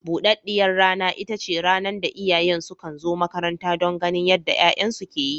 Buɗaɗɗiyar rana ita ce rana da iyayen sukan zo makaranta don ganin yadda 'ya'yansu ke yi.